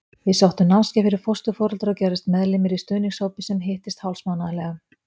Við sóttum námskeið fyrir fósturforeldra og gerðumst meðlimir í stuðningshópi sem hittist hálfsmánaðarlega.